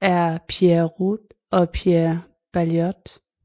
er Pierre Rode og Pierre Baillot